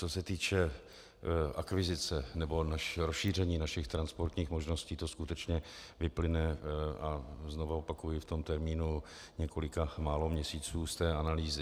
Co se týče akvizice nebo rozšíření našich transportních možností, to skutečně vyplyne, a znovu opakuji, v tom termínu několika málo měsíců, z té analýzy.